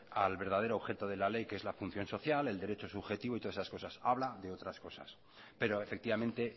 al verdadero objeto de la ley que es la función social el derecho subjetivo y todas esas cosas habla de otras cosas pero efectivamente